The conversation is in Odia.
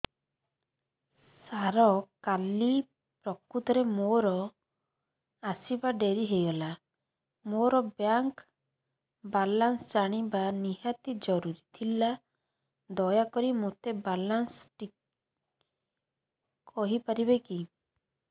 ସାର କାଲି ପ୍ରକୃତରେ ମୋର ଆସିବା ଡେରି ହେଇଗଲା ମୋର ବ୍ୟାଙ୍କ ବାଲାନ୍ସ ଜାଣିବା ନିହାତି ଜରୁରୀ ଥିଲା ଦୟାକରି ମୋତେ ମୋର ବାଲାନ୍ସ ଟି କହିପାରିବେକି